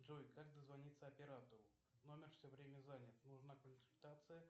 джой как дозвониться оператору номер все время занят нужна консультация